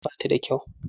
Hanyar ba ta da kyau.